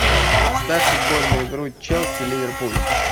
ставь футбольную игру челси ливерпуль